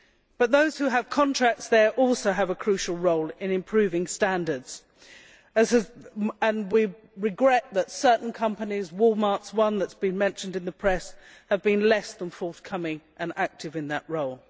But those who have contracts there also have a crucial role in improving standards, and we regret that certain companies Walmart is one that has been mentioned in the press have been less than forthcoming and active in that role.